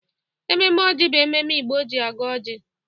Ememe ọjị bụ ememe Igbo ji agọ oji.